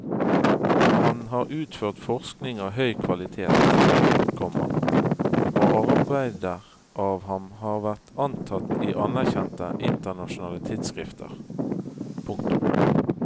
Han har utført forskning av høy kvalitet, komma og arbeider av ham har vært antatt i anerkjente internasjonale tidsskrifter. punktum